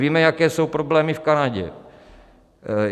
Víme, jaké jsou problémy v Kanadě.